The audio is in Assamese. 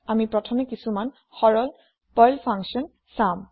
আমি প্ৰথমে কিচুমান সৰল পাৰ্ল ফান্কসন চাম